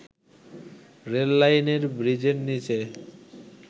রেললাইনের ব্রীজের নিচে